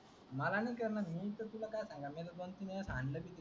मला नाही कारण मी तुला की सांगेल मला दोन तीन दिवस आणल की.